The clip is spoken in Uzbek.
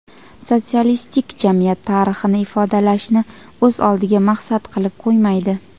"sotsialistik jamiyat tarixini ifodalash"ni o‘z oldiga maqsad qilib qo‘ymaydi.